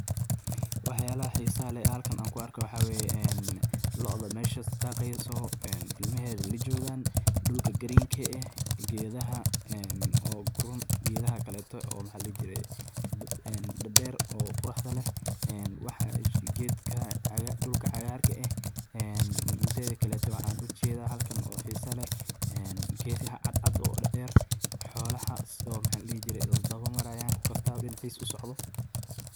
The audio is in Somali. Waxyalaha hisaha leh ee halkan an kuarko waxa weye een looda meshas dageyso, en ilamaheda lajogaan, dulka green ka eh gedaha oo guraan iyo geedaha kaleto oo maha ladihi jiree een dader ee quruxda leh, ee waxa geedka dulka cagaarka eh een mideda kale waxan ujeda oo an halkan oo hisa leh geed cadcad oo dader, xoolaha sida maxaladihijiree isdawa marayan ku kastawaba dinicis usocdho.